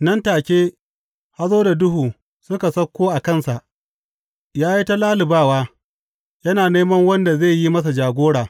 Nan take, hazo da duhu suka sauko a kansa, ya yi ta lallubawa, yana neman wanda zai yi masa jagora.